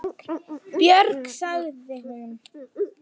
Björg, sagði hún.